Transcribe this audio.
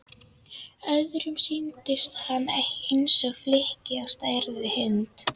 Öðrum sýndist hann eins og flykki á stærð við hund.